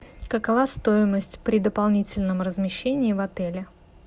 какова стоимость при дополнительном размещении в отеле